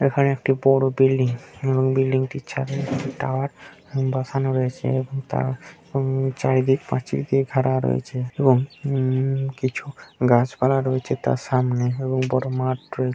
এখানে একটি বড় বিল্ডিং এবং বিল্ডিং টির ছাদে টাওয়ার বসানো রয়েছে এবং তার উম চারি দিক প্রাচীর দিয়ে ঘেরা রয়েছে এবং উম কিছু গাছ পালা রয়েছে তার সামনে এবং বড়ো মাঠ রয়ে--